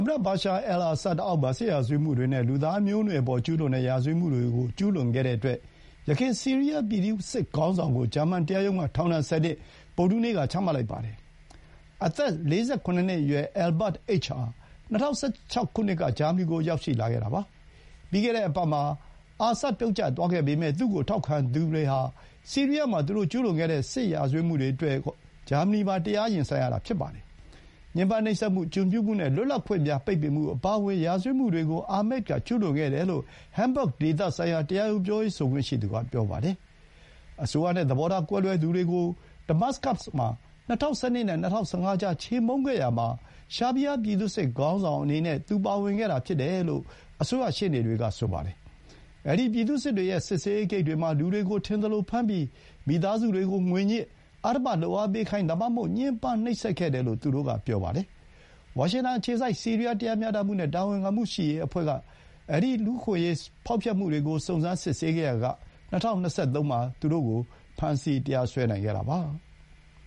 မတ ဘာရှာ အယ်အာဆတ် အောက်မှာ စစ်ရာဇဝတ်မှုတွေနဲ့ လူသားမျိုးနွယ်အပေါ် ကျူးလွန်တဲ့ ရာဇဝတ်မှုတွေကို ကျူးလွန်ခဲ့တဲ့အတွက် ယခင် ဆီးရီးယား ပြည်သူ့စစ်ခေါင်းဆောင်ကို ဂျာမန် တရားရုံးက ထောင်ဒဏ် ၁၀ နှစ် ဗုဒ္ဓဟူးနေ့က ချမှတ်လိုက်ပါတယ်။ အသက် ၄၇ နှစ် အရွယ် Ahmad H. ဟာ ၂၀၁၆ ခုနှစ်က ဂျာမနီကို ရောက်လာခဲ့တာပါ။ ပြီးခဲ့တဲ့ အပတ်မှာ အာဆတ် ပြုတ်ကျသွားခဲ့ပေမဲ့ သူ့ကို ထောက်ခံခဲ့သူတွေဟာ ဆီးရီးယားမှာ သူတို့ ကျူးလွန်ခဲ့တဲ့ ရာဇဝတ်မှုတွေအတွက် ဂျာမနီမှာ တရား ရင်ဆိုင်ရတာ ဖြစ်ပါတယ်။ ညှင်းပန်းနှိပ်စက်မှု၊ ကျွန်ပြုမှု နဲ့ လွတ်လပ်ခွင့်များ ပိတ်ပင်မှု အပါအဝင် ရာဇဝတ်မှုတွေကို အာမက်က ကျူးလွန်ခဲ့တယ်လို့ ဟမ်းဘဂ် ဒေသဆိုင်ရာ တရားရုံး ပြောရေး ဆိုခွင့်ရှိသူက ပြောပါတယ်။ အစိုးရနဲ့ သဘောထား ကွဲသူတွေကို ဒမတ်စကတ်မှာ ၂၀၁၂ နဲ့ ၂၀၁၅ ကြား ချေမှုန်းခဲ့ရာမှာ ရှာဘိဟား ပြည်သူ့စစ်ခေါင်းဆောင် အနေနဲ့ သူ ပါဝင်ခဲ့တာ ဖြစ်တယ်လို့ အစိုးရ ရှေ့နေတွေက ပြောပါတယ်။ အဲဒီ ပြည်သူ့စစ်တွေရဲ့ စစ်ဆေးရေး ဂိတ်တွေမှာ လူတွေကို ထင်သလိုဖမ်းပြီး မိသားစုတွေကို ငွေညှစ်၊ အဓမ္မ လုပ်အားပေးခိုင်း ဒါမှမဟုတ် ညှင်းပန်း နှိပ်စက်ခဲ့တယ်လို့ သူတို့က ဆိုပါတယ်။ ဝါရှင်တန် အခြေစိုက် ဆီးရီးယား တရားမျှတမှု နဲ့ တာဝန်ခံမှုရှိရေး အဖွဲ့က စုံစမ်းစစ်ဆေးခဲ့ရာက ၂၀၂၃ မှာ သူ့ကို ဖမ်းဆီး တရားစွဲနိုင်ခဲ့တာပါ။